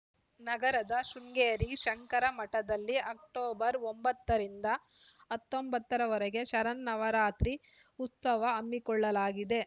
ನಗರದ ಶೃಂಗೇರಿ ಶಂಕರ ಮಠದಲ್ಲಿ ಅಕ್ಟೋಬರ್ ಒಂಬತ್ತರಿಂದ ಹತ್ತೊಂಬತ್ತರವರೆಗೆ ಶರನ್ನವರಾತ್ರಿ ಉತ್ಸವ ಹಮ್ಮಿಕೊಳ್ಳಲಾಗಿದೆ